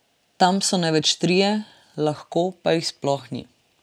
Tam so največ trije, lahko pa jih sploh ni.